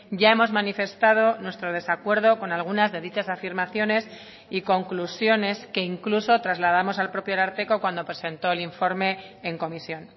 ya hemos manifestado nuestro desacuerdo con algunas de dichas afirmaciones y conclusiones que incluso trasladamos al propio ararteko cuando presentó el informe en comisión